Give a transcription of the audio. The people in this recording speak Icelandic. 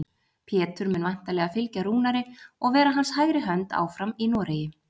Pétur mun væntanlega fylgja Rúnari og vera hans hægri hönd áfram í Noregi.